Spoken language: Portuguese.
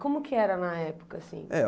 Como que era na época, assim? Eh